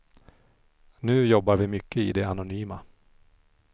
Nu jobbar vi mycket i det anonyma.